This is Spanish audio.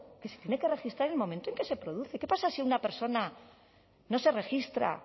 que se tiene que registrar en el momento en que se produce qué pasa si a una persona no se registra